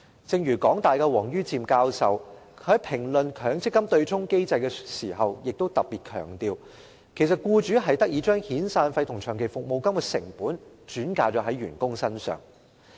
正如香港大學王于漸教授在評論強積金對沖機制時亦特別強調，僱主其實得以將遣散費與長期服務金的成本轉嫁到員工身上。